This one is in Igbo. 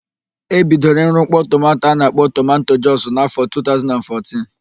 E bidoro ịrụ mkpọ tomanto a na-akpọ tomanto jọs n'afọ 2014.